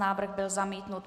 Návrh byl zamítnut.